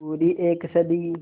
पूरी एक सदी